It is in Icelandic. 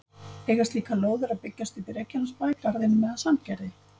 Eiga slíkar lóðir að byggjast upp í Reykjanesbæ, Garðinum eða Sandgerði?